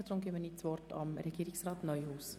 Ich erteile das Wort Regierungsrat Neuhaus.